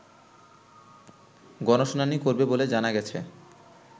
গণশুনানি করবে বলে জানা গেছে